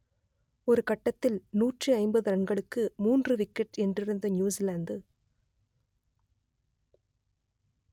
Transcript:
ஒரு கட்டத்தில் நூற்று ஐம்பது ரன்களுக்கு மூன்று விக்கெட் என்றிருந்த நியூசிலாந்து